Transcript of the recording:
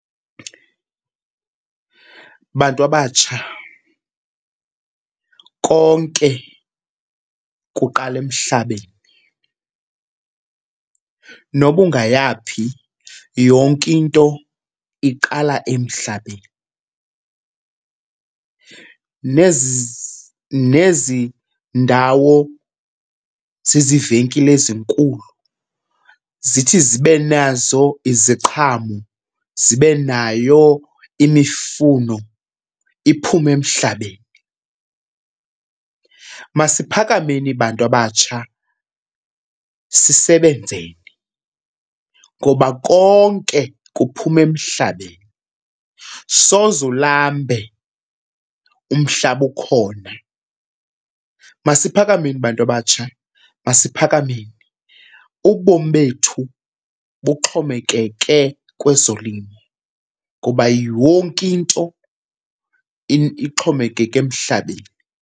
Bantu abatsha, konke kuqala emhlabeni. Noba ungaya phi, yonke into iqala emhlabeni. Nezi nezi ndawo ziziivenkile ezinkulu zithi zibe nazo iziqhamo zibe nayo imifuno, iphume emhlabeni. Masiphakameni bantu abatsha sisebenzeni ngoba konke kuphuma emhlabeni, soze ulambe umhlaba ukhona. Masiphakameni bantu abatsha, masiphakameni!. Ubomi bethu buxhomekeke kwezolimo kuba yonke into ixhomekeke emhlabeni.